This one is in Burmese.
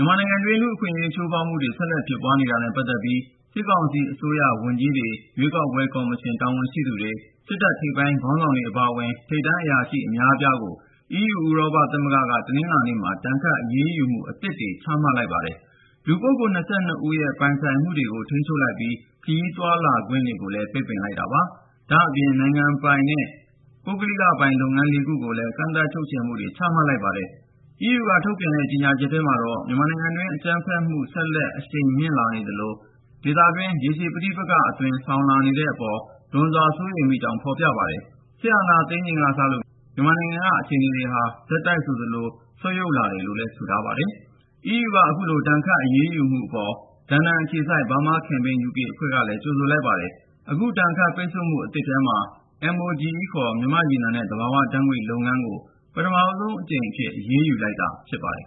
ြန်မာနိုင်ငံတွင်း လူ့အခွင့်အရေး ချိုးဖေါက်မှုတွေ ဆက်လက်ဖြစ်ပွားနေတာနဲ့ ပတ်သက်ပြီး စစ်ကောင်စီအစိုးရ ဝန်ကြီးတွေ ၊ ရွေးကောက်ပွဲ ကော်မရှင် တာဝန်ရှိသူတွေ၊ စစ်တပ်ထိပ်ပိုင်း ခေါင်းဆောင်တွေ အပါအဝင် ထိပ်တန်းအရာရှိ အများအပြားကို EU ဥရောပသမဂ္ဂက တနင်္လာနေ့မှာ ဒဏ်ခတ်အရေးယူမှု အသစ်တွေ ချမှတ်လိုက်ပါတယ်။ လူပုဂ္ဂိုလ် (၂၂)ဦးရဲ့ ပိုင်ဆိုင်မှုတွေကို ထိန်းချုပ်လိုက်ပြီး ၊ ခရီးသွားလာခွင့်ကိုပါ ပိတ်ပင်လိုက်တာပါ။ ဒါ့အပြင် နိုင်ငံပိုင်နဲ့ ပုဂ္ဂလိကပိုင် လုပ်ငန်း(၄)ခုကိုလည်း ကန့်သတ်ချုပ်ချယ်မှုတွေ ချမှတ် လိုက်ပါတယ်။ EU က ထုတ်ပြန်တဲ့ ကြေညာချက်ထဲမှာတော့ မြန်မာနိုင်ငံတွင်း အကြမ်းဖက်တွေ ဆက်လက် အရှိန် မြင့်လာနေသလို၊ ဒေသတွင်း ရှေရှည် ပဋိပက္ခအသွင် ဆောင်လာနေတဲ့အပေါ် လွန်စွာ စိုးရိမ်ကြောင်း ဖေါ်ပြထားပါတယ်။ စစ်အာဏာသိမ်းချိန်ကစလို့ မြန်မာနိုင်ငံက အခြေအနေတွေဟာ ဆက်တိုက်ဆိုသလို ဆုတ်ယုတ်လာတယ်လို့ ဆိုထားပါတယ်။ EU က အခုလို ဒဏ်ခတ် အရေးယူမှုအပေါ် လန်ဒန်အခြေစိုက် Burma Campaign UK အဖွဲ့ကလည်း ကြိုဆိုလိုက်ပါတယ်။ အခု ဒဏ်ခတ်ပိတ်ဆို့မှု အသစ်ထဲမှာ MOGE ခေါ် မြန်မာ့ရေနံနဲ့ သဘာဝဓါတ်ငွေ့လုပ်ငန်းကို ပထမဆုံးအကြိမ် အရေးယူလိုက်တာ ဖြစ်ပါတယ်